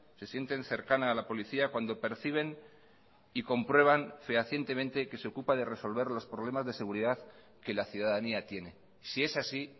se sienten cercana a la policía cuando perciben y comprueban fehacientemente que se ocupa de resolver los problemas de seguridad que la ciudadanía tiene si es así